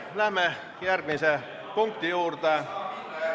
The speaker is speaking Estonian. Läheme järgmise punkti juurde.